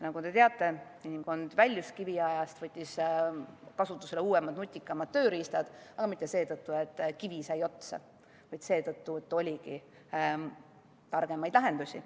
Nagu te teate, inimkond väljus kiviajast, võttis kasutusele uuemad, nutikamad tööriistad, aga mitte seetõttu, et kivi sai otsa, vaid seetõttu, et oligi targemaid lahendusi.